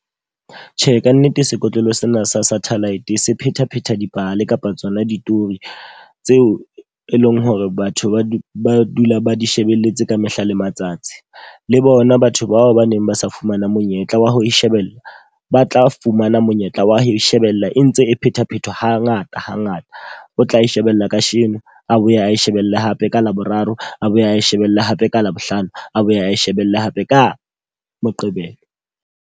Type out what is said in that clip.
Tjhe, ka nnete sekotlolo sena sa satellite se phethaphetha dipale kapa tsona ditori tseo e leng hore batho ba di ba dula ba di shebelletse ka mehla le matsatsi. Le bona batho bao ba neng ba sa fumana monyetla wa ho e shebella, ba tla fumana monyetla wa ho e shebella e ntse e phethaphetha ha ngata hangata. O tla e shebella ka sheno, a boye ae shebelle hape ka Laboraro, a boye ae shebelle hape ka Labohlano, a boye ae shebelle hape ka Moqebelo.